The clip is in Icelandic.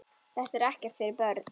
Þetta er ekkert fyrir börn!